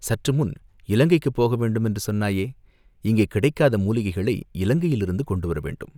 "சற்று முன் இலங்கைக்குப் போக வேண்டும் என்று சொன்னாயே?" "இங்கே கிடைக்காத மூலிகைகளை இலங்கையிலிருந்து கொண்டுவர வேண்டும்.